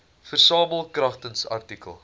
versamel kragtens artikel